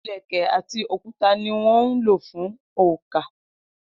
Ilẹ̀kẹ̀ àti òkúta ní wón ń lò fún oǹkà.